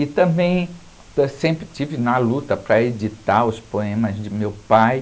E também, sempre estive na luta para editar os poemas de meu pai.